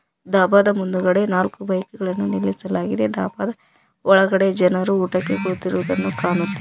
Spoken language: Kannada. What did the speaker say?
ಡಾಬಾದ ಮುಂದುಗಡೆ ನಾಲ್ಕು ಬೈಕುಗಳನ್ನು ನಿಲ್ಲಿಸಲಾಗಿದೆ ಡಾಬಾದ ಒಳಗೆ ಜನರು ಊಟಕ್ಕೆ ಕುಳಿತಿರುವುದನ್ನು ಕಾಣುತ್ತೇ--